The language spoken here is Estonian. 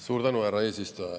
Suur tänu, härra eesistuja!